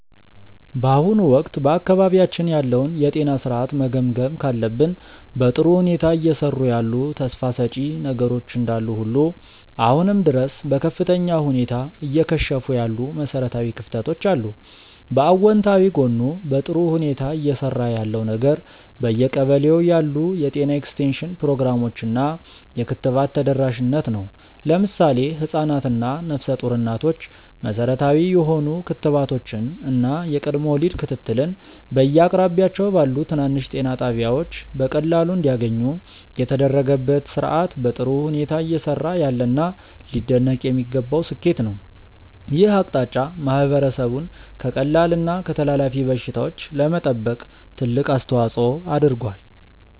በአሁኑ ወቅት በአካባቢያችን ያለውን የጤና ሥርዓት መገምገም ካለብን፣ በጥሩ ሁኔታ እየሰሩ ያሉ ተስፋ ሰጪ ነገሮች እንዳሉ ሁሉ አሁንም ድረስ በከፍተኛ ሁኔታ እየከሸፉ ያሉ መሠረታዊ ክፍተቶች አሉ። በአዎንታዊ ጎኑ በጥሩ ሁኔታ እየሰራ ያለው ነገር በየቀበሌው ያሉ የጤና ኤክስቴንሽን ፕሮግራሞች እና የክትባት ተደራሽነት ነው። ለምሳሌ ህፃናት እና ነፍሰ ጡር እናቶች መሠረታዊ የሆኑ ክትባቶችን እና የቅድመ ወሊድ ክትትልን በየአቅራቢያቸው ባሉ ትናንሽ ጤና ጣቢያዎች በቀላሉ እንዲያገኙ የተደረገበት ሥርዓት በጥሩ ሁኔታ እየሰራ ያለና ሊደነቅ የሚገባው ስኬት ነው። ይህ አቅጣጫ ማህበረሰቡን ከቀላል እና ከተላላፊ በሽታዎች ለመጠበቅ ትልቅ አስተዋፅዖ አድርጓል።